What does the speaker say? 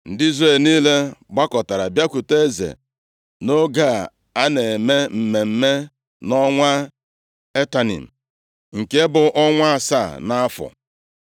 Ndị Izrel niile gbakọtara bịakwute eze nʼoge a na-eme mmemme nʼọnwa Etanim, nke bụ ọnwa asaa nʼafọ.